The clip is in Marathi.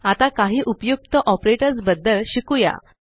आता काही उपयुक्त ऑपरेटर्स बद्दल शिकुया